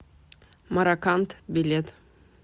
мараканд билет